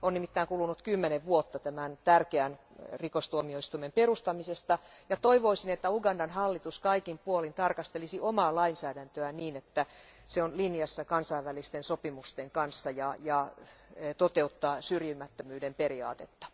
On nimittäin kulunut kymmenen vuotta tämän tärkeän rikostuomioistuimen perustamisesta, ja toivoisin, että Ugandan hallitus kaikin puolin tarkastelisi omaa lainsäädäntöään niin, että se on linjassa kansainvälisten sopimusten kanssa ja noudattaa syrjimättömyyden periaatetta.